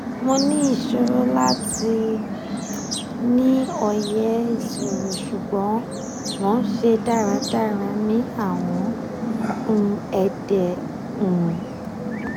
mo ni iṣoro lati ni oye iṣiro ṣugbọn mo n ṣe daradara ni awọn um ede um